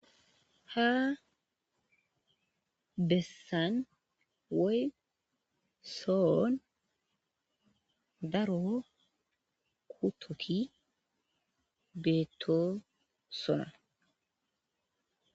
Ha bessan woyyi sohon daro kuthothi bethossona.